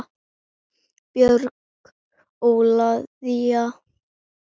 Björg Ólavía.